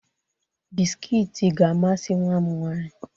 Biskiit ga-amasị nwa m nwaanyị.